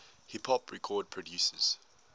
hip hop record producers